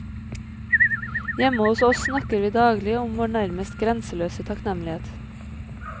Hjemme hos oss snakker vi daglig om vår nærmest grenseløse takknemlighet.